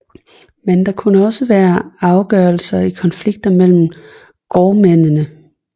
Men det kunne også være afgørelser i konflikter mellem gårdmændene